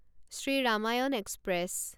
Shri Ramayan express